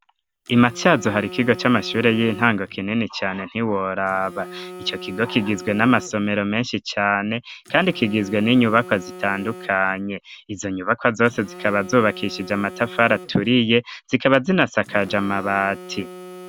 Imatsyazu hari ikigo cy'amashure y'intango kinini cyane ntiworaba icyo kigo kigizwe n'amasomero menshi cyane kandi kigizwe n'inyubakwa zitandukanye izo nyubakwa zose zikaba zubakishije amatafari aturiye zikaba zinasakaje mabati.